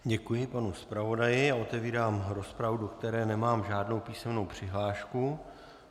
Děkuji panu zpravodaji a otevírám rozpravu, do které nemám žádnou písemnou přihlášku.